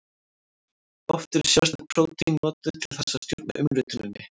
Oft eru sérstök prótín notuð til þess að stjórna umrituninni.